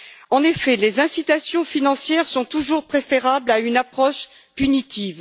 En effet, les incitations financières sont toujours préférables à une approche punitive.